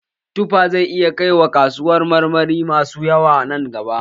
Tuffa zai iya kai wa kasuwar kayan marmari masu yawa nan gaba